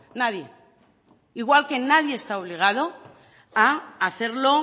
nadie igual que nadie está obligado a hacerlo